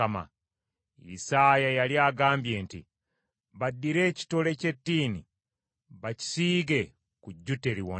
Isaaya yali agambye nti, “Baddire ekitole ky’ettiini bakisiige ku jjute, liwone.”